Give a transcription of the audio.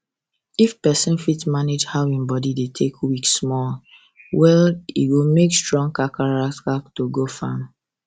if person fit manage how him body take weak small well well e go strong kakaraka to go farm